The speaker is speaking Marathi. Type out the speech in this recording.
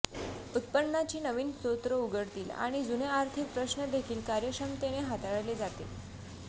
उत्पन्नाचे नवीन स्रोत उघडतील आणि जुने आर्थिक प्रश्नदेखील कार्यक्षमतेने हाताळले जातील